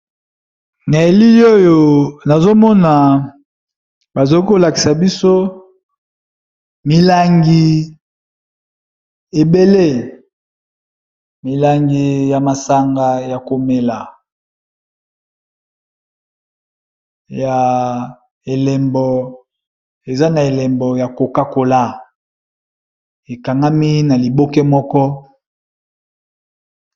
Na yeli oyo nazomona bazoki kolakisa biso milangi ebele milangi ya masanga ya komela ya elembo eza na elembo ya kokakola ekangami na liboke moko.